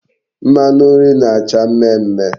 Mmanu nri na-acha mme mme